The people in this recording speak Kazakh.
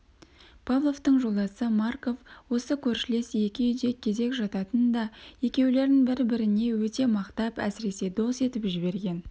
павловтың жолдасы марков осы көршілес екі үйде кезек жататын да екеулерін бір-біріне өте мақтап әсіресе дос етіп жіберген